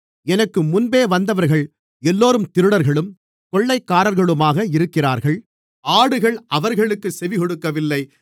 எனக்கு முன்பே வந்தவர்கள் எல்லோரும் திருடர்களும் கொள்ளைக்காரர்களுமாக இருக்கிறார்கள் ஆடுகள் அவர்களுக்குச் செவிகொடுக்கவில்லை